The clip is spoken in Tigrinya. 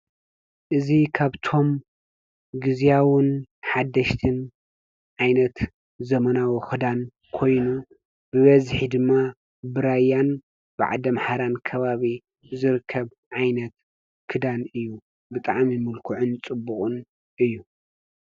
እዙ ኻብቶም ጊዜያውን ሓደሽትን ኣይነት ዘመናዊ ኽዳን ኮይኑ ብበዝኂድማ ብራይያን ብዓደም ሓራን ከባቢ ዘርከብ ዓይነት ክዳን እዩ ብጥዓሚ ምልክዕን ጽቡቕን እዩ።